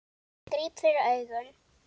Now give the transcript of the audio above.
Ég gríp fyrir augun.